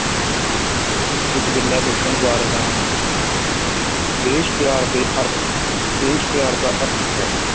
ਕੁੱਝ ਗੱਲਾਂ ਦੱਸਣ ਜਾ ਰਿਹਾ ਹਾਂ ਦੇਸ਼ ਪਿਆਰ ਦੇ ਅਰਥ ਦੇਸ਼ ਪਿਆਰ ਦਾ ਅਰਥ ਹੈ,